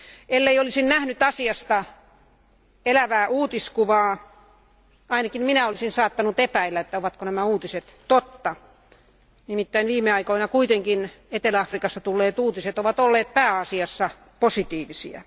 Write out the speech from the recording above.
Ellen olisi nähnyt asiasta elävää uutiskuvaa, ainakin minä olisin saattanut epäillä, ovatko nämä uutiset totta, koska viime aikoina Etelä Afrikasta tulleet uutiset ovat olleet pääasiassa positiivisia.